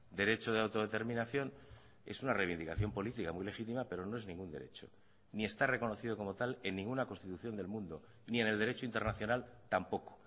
derecho de autodeterminación es una reivindicación política muy legítima pero no es ningún derecho ni está reconocido como tal en ninguna constitución del mundo ni en el derecho internacional tampoco